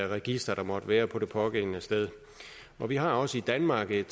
register der måtte være på det pågældende sted og vi har også i danmark et